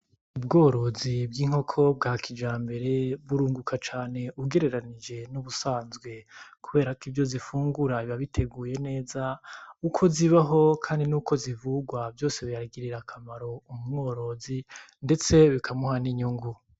Ubworozi bw'inkoko bwa kijambere burunguka cane ugereranije n'ubusanzwe kubera ivyo zifungura biba biteguye neza uko zibaho kandi nuko zivugwa vyose biragirira akamaro umworozi ndetse bikamuha n'inyungu.